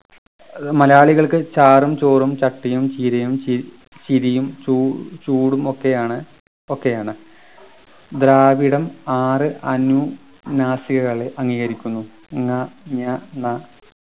അത് മലയാളികൾക്ക് ചാറും ചോറും ചട്ടിയും ചീരയും ചി ചിരിയും ചൂ ചൂടും ഒക്കെയാണ് ഒക്കെയാണ് ദ്രാവിഡം ആറു അനു നാസികകളെ അംഗീകരിക്കുന്നു ങ ഞ ന